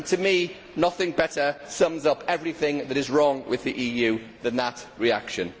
To me, nothing better sums up everything that is wrong with the EU than that reaction.